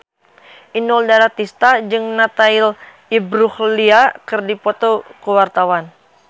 Inul Daratista jeung Natalie Imbruglia keur dipoto ku wartawan